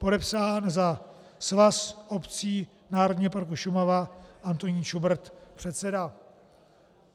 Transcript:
Podepsán za Svaz obcí Národního parku Šumava Antonín Šubrt, předseda.